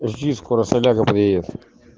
жди скоро соляра приедет